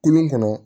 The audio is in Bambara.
Kolon kɔnɔ